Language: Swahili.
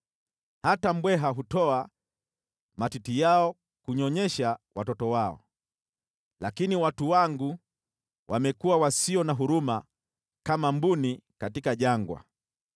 Hata mbweha hutoa matiti yao kunyonyesha watoto wao, lakini watu wangu wamekuwa wasio na huruma kama mbuni jangwani.